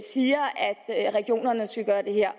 regionerne skal gøre det her